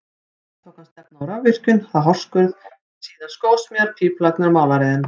Næst tók hann stefnu á rafvirkjun, þá hárskurð, síðan skósmíðar, pípulagnir og málaraiðn.